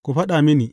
Ku faɗa mini!